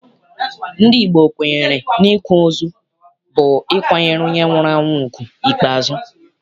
Ndị Igbo kwenyere n'ịkwa ozu bụ ịkwanyere onye nwụrụ anwụ ugwu ikpeazụ.